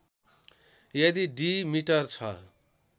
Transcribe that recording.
यदि diameter छ